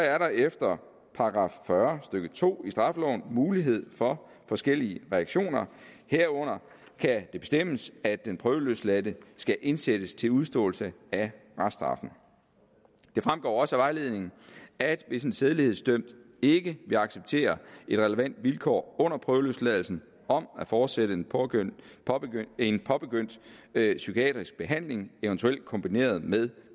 er der efter § fyrre stykke to i straffeloven mulighed for forskellige reaktioner herunder kan det bestemmes at den prøveløsladte skal indsættes til udståelse af reststraffen det fremgår også af vejledningen at hvis en sædelighedsdømt ikke vil acceptere et relevant vilkår under prøveløsladelsen om at fortsætte en påbegyndt en påbegyndt psykiatrisk behandling eventuelt kombineret med